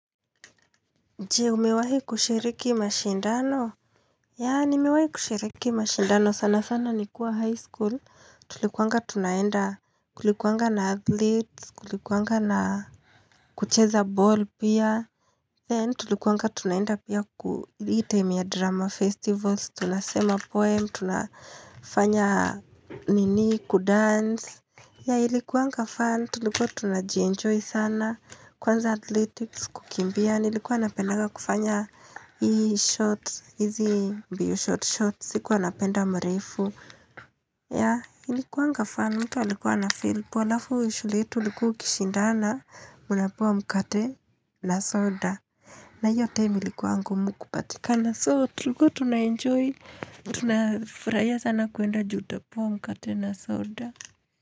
Je, umewahi kushiriki mashindano? Ya, nimewahi kushiriki mashindano. Sana sana ni kuwa high school. Tulikuanga tunaenda kulikuwanga na athletes, kulikuwanga na kucheza ball pia. Then, tulikuanga tunaenda pia ku hii time ya drama festivals. Tunasema poem, tunafanya nini, kudance. Yeah, ilikuanga fun. Tulikuwa tuna jienjoy sana. Kwanza athletics kukimbia. Yeah nilikuwa napendanga kufanya hizi mbio short shorts, sikuwa napenda mrefu. Yah, ilikuwanga fun, mtu alikuwa ana feel poa, alafu shule yetu ulikuwa ukishindana, mna pewa mkate na soda. Na hiyo time ilikuwa ngumu kupatikana so tulikuwa tunaenjoy, tunafurahia sana kwenda ju utapewa mkate na soda.